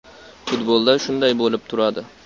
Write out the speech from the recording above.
Futbolda shunday bo‘lib turadi.